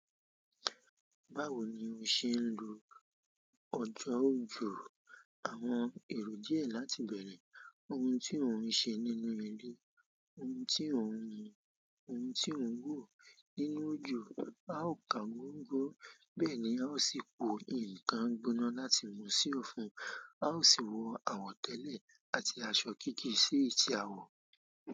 Báwo ni o se n lo ọjọ òjo? Àwọn èrò díẹ̀ láti bẹ̀rẹ̀: Ohun tí ò ń ṣe nínú ilé, ohun tí ò ń yin, ohun tí ò ń wò nínú ojo. A ó kan gbọ́ngbọ́n, bẹ́ẹ̀ ni a ó sì po ǹnkan gbóná láti mú sí ọfun. A ó sì wọ àwọ̀tẹ́lẹ̀ àti aṣọ kéékèè sí èyí ti à wọ̀.